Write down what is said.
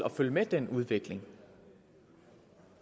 at følge med i den udvikling